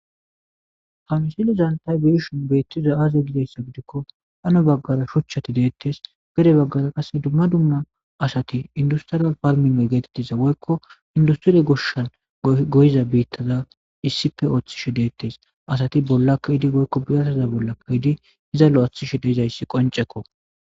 Haa misilezzanni taa be'ishshinn betizayi azee gikko hani bagara shochchati de'etes. gede bagara qase dumma dumma asati industrial farming getettiza woyikko industre goshshanni goyizza bitazza issippe oththishshe detees.asati bolla kehiddi woyikko biratazza bolla keziddi izza loyiththishshe dizayiss qonccekko.